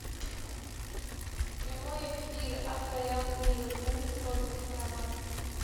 прямой эфир апл ливерпуль с тоттенхэмом